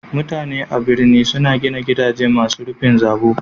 Mutanan birni suna gina gidaje masu rufin zabo.